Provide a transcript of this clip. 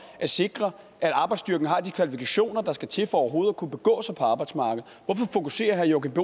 at sikre at arbejdsstyrken har de kvalifikationer der skal til for overhovedet at kunne begå sig på arbejdsmarkedet hvorfor fokuserer herre joachim